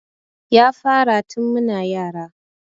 Ya fara tun muna yara